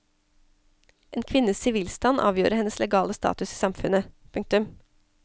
En kvinnes sivilstand avgjorde hennes legale status i samfunnet. punktum